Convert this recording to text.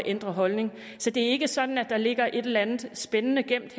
ændre holdning det er ikke sådan at der ligger et eller andet spændende gemt